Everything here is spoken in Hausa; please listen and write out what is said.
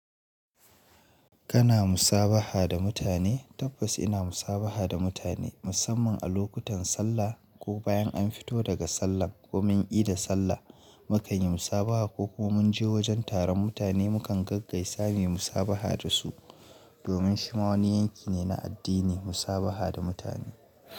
Kana musabaha da mutane? Tabbas ina musabaha da mutane musamman a lokutan sallah ko bayan an fito daga sallan ko mun ida sallah mukan yi musabaha ko ko mun je wajen taron mutane mu kan gaggaisa sami musabaha da su domin shi ma wani yanki ne na addini musabaha da mutane.